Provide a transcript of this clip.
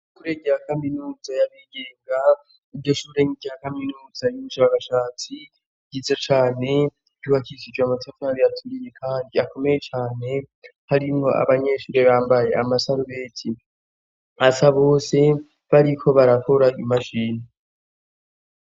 Ishure rya kaminuza yabigenga, iryo Shure nirya kaminuza yubu shakashatsi ryize cane ryubakishijwe amatafari aturiye kandi akomeye cane, harimwo abanyeshure bambaye amasarubeti asa bose bariko barakora imashini.